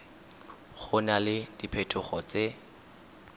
go na le diphetogo tse